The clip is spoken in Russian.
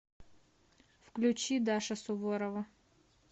включи даша суворова